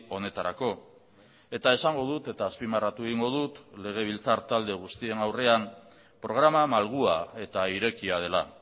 honetarako eta esango dut eta azpimarratu egingo dut legebiltzar talde guztien aurrean programa malgua eta irekia dela